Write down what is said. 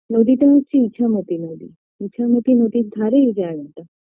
নদীটা হচ্ছে ইছামতি নদী ইছামতি নদীর ধারে এই জায়গাটা